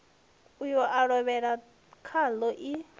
uyo a lovhela khaḽo i